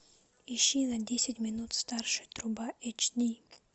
ищи на десять минут старше труба эйч ди